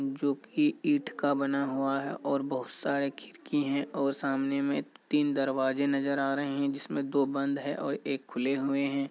जो की ईंट का बना हुआ है और बहुत सारे खिड़की हैं और सामने में तीन दरवाजे नजर आ रहे हैं जिसमें दो बंद हैं और एक खुले हुए हैं।